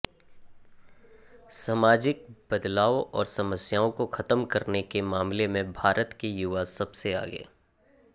सामाजिक बदलाव और समस्याओं को खत्म करने के मामले में भारत के युवा सबसे आगे